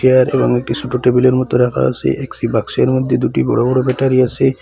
Chair এবং একটি সোট টেবিলের মতো রাখা আসে একটি বাক্সের মধ্যে দুটি বড়ো বড়ো ব্যাটারি আসে।